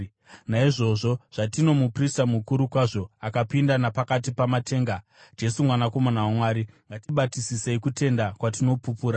Naizvozvo, zvatino muprista mukuru kwazvo, akapinda napakati pamatenga, Jesu Mwanakomana waMwari, ngatibatisisei kutenda kwatinopupura.